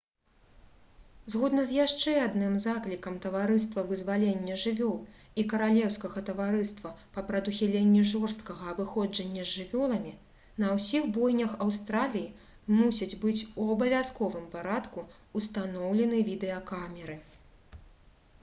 згодна з яшчэ адным заклікам таварыства вызвалення жывёл і каралеўскага таварыства па прадухіленні жорсткага абыходжання з жывёламі на ўсіх бойнях аўстраліі мусяць быць у абавязковым парадку ўстаноўлены відэакамеры